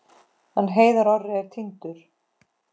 Hann Heiðar Orri er týndur.